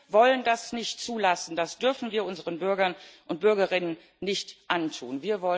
Wir wollen das nicht zulassen, das dürfen wir unseren Bürgern und Bürgerinnen nicht antun.